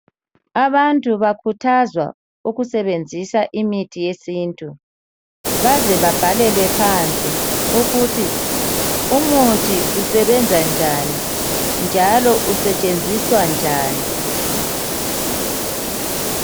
Abantu bakhuthazwa ukusebenzisa imithi yesintu baze babhalelwe phansi ukuthi umuthi usebenza njani njalo usetshenziswa njani.